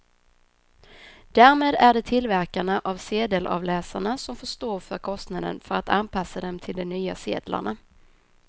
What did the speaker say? Därmed är det tillverkarna av sedelavläsarna som får stå för kostnaden för att anpassa dem till de nya sedlarna.